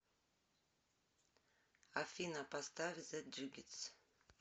афина поставь зе джигитс